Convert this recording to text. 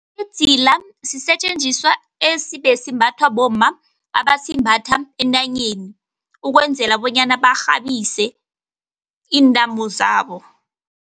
Idzila sisetjenziswa ebesimbathwa bomma, abasimbathi entanyeni ukwenzela bonyana barhabise iintamo zabo.